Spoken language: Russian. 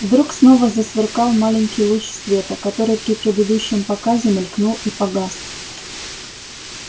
вдруг снова засверкал маленький луч света который при предыдущем показе мелькнул и погас